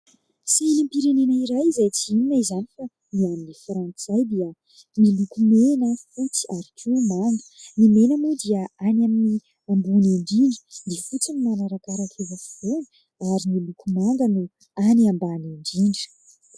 Sainam-pirenena iray izay tsy inona izany fa ny an'i Frantsay dia miloko mena, fotsy ary koa manga. Ny mena moa dia any amin'ny ambony indrindra, ny fotsy no manarakaraka eo afovoany ary ny loko manga no any ambany indrindra.